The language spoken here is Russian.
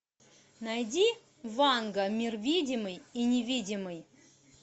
найди ванга мир видимый и невидимый